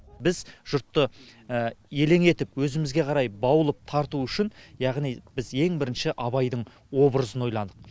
біз жұртты елең етіп өзімізге қарай баулып тарту үшін яғни біз ең бірінші абайдың образын ойладық